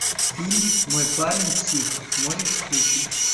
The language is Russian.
фильм мой парень псих можешь включить